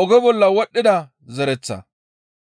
oge bolla wodhdhida zereththa.